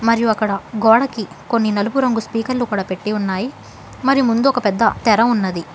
మరియు అక్కడ గోడకి కొన్ని నలుపు రంగు స్పీకర్లు కూడా పెట్టి ఉన్నాయ్ మరి ముందు ఒక పెద్ద తెర ఉన్నది.